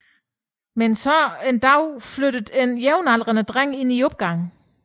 Men så en dag flytter en jævnaldrende dreng ind i opgangen